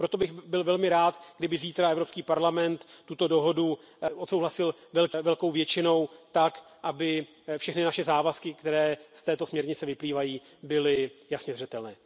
Proto bych byl velmi rád, kdyby zítra Evropský parlament tuto dohodu odsouhlasil velkou většinou tak, aby všechny naše závazky, které z této směrnice vyplývají, byly jasně zřetelné.